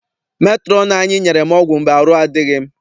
Metrọn anyị nyere m ọgwụ mgbe arụ adịghị m.